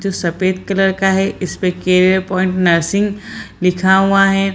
जो सफ़ेद कलर का है इस्पे केरियर पॉइंट नर्सिंग लिखा हुआ है।